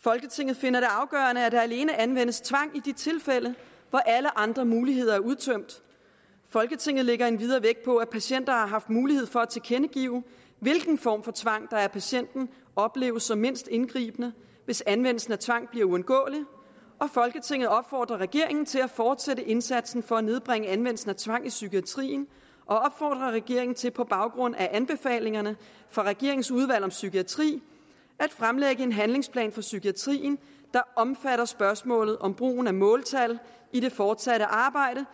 folketinget finder det afgørende at der alene anvendes tvang i de tilfælde hvor alle andre muligheder er udtømt folketinget lægger endvidere vægt på at patienter har haft mulighed for at tilkendegive hvilken form for tvang der af patienten opleves som mindst indgribende hvis anvendelse af tvang bliver uundgåelig folketinget opfordrer regeringen til at fortsætte indsatsen for at nedbringe anvendelsen af tvang i psykiatrien og opfordrer regeringen til på baggrund af anbefalingerne fra regeringens udvalg om psykiatri at fremlægge en handlingsplan for psykiatrien der omfatter spørgsmålet om brugen af måltal i det fortsatte arbejde